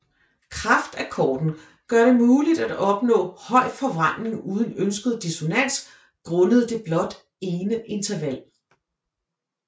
Kraftakkorden gør det muligt at opnå høj forvrængning uden uønsket dissonans grundet det blot ene interval